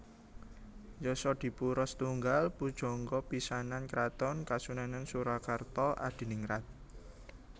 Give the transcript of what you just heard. Yasadipura I pujangga pisanan kraton Kasunanan Surakarta Adiningrat